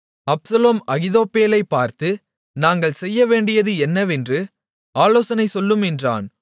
Absalom அகித்தோப்பேலைப் பார்த்து நாங்கள் செய்யவேண்டியது என்னவென்று ஆலோசனை சொல்லும் என்றான்